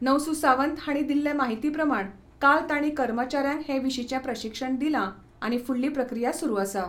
नवसू सावंत हांणी दिल्ले माहिती प्रमाण काल तांणी कर्मचाऱ्यांक हे विशींचे प्रशिक्षण दिलां आनी फुडली प्रक्रिया सुरू आसा.